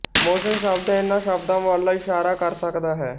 motion ਸ਼ਬਦ ਇਹਨਾਂ ਸ਼ਬਦਾਂ ਵੱਲ ਇਸ਼ਾਰਾ ਕਰ ਸਕਦਾ ਹੈ